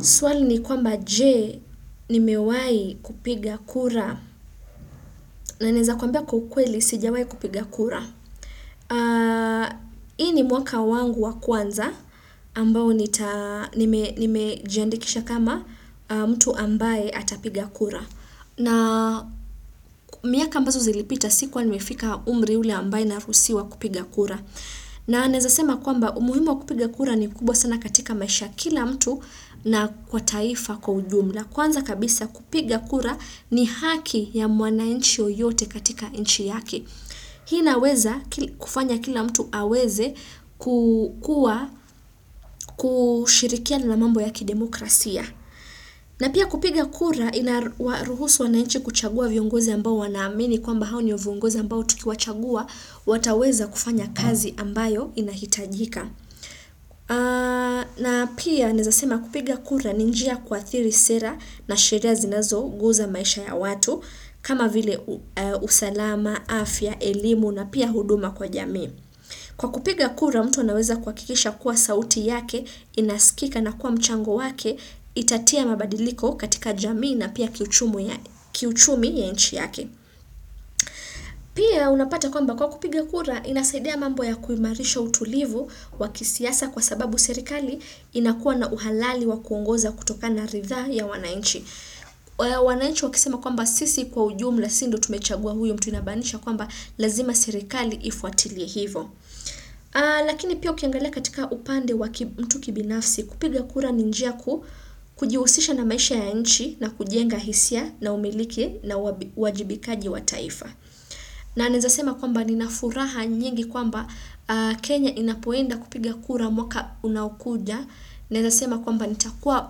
Suali ni kwamba jee nimewai kupiga kura na naeza kwamba kwa ukweli sijawai kupiga kura. Hii ni mwaka wangu wa kwanza ambao nimejiandikisha kama mtu ambaye atapiga kura. Na miaka ambazo zilipita sikuwa nimefika umri ule ambaye narusiwa kupiga kura. Na naeza sema kwamba umuhimu wa kupiga kura ni kubwa sana katika maisha ya kila mtu na kwa taifa kwa ujumla. Kwanza kabisa kupiga kura ni haki ya mwanainchi yoyote katika inchi yake. Hii inaweza kufanya kila mtu aweze kushirikiana na mambo ya kidemokrasia. Na pia kupiga kura inaruhusu wanainchi kuchagua viongozi ambao wanaamini kwamba hao ndio viongozi ambao tukiwachagua wataweza kufanya kazi ambayo inahitajika. Na pia naezasema kupiga kura ni njia kuathiri sera na sheria zinazoguza maisha ya watu kama vile usalama, afya, elimu na pia huduma kwa jami. Kwa kupiga kura mtu anaweza kuhakikisha kuwa sauti yake, inaskika na kuwa mchango wake, itatia mabadiliko katika jamii na pia kiuchumi ya inchi yake. Pia unapata kwamba kwa kupiga kura inasaidia mambo ya kuimarisha utulivu wa kisiasa kwa sababu serikali inakuwa na uhalali wa kuongoza kutokana na ritha ya wanainchi. Wanainchi wakisema kwamba sisi kwa ujumla si ndo tumechagua huyu mtu inamanisha kwamba lazima serikali ifuatilie hivo. Lakini pia ukiangalia katika upande wa mtu kibinafsi kupiga kura ni njia kujiusisha na maisha ya nchi na kujenga hisia na umiliki na uwajibikaji wa taifa na naeza sema kwamba nina furaha nyingi kwamba Kenya inapoenda kupiga kura mwaka unaokuja Naeza sema kwamba nitakua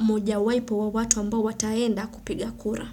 mojawaipo wa watu ambao wataenda kupiga kura.